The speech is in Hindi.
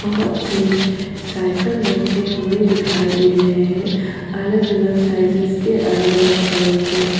बहोत से साइकल रखे हुए दिखाई दे रहे हैं अलग-अलग साइजेज के अलग-अलग कलर के।